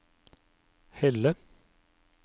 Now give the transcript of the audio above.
Helle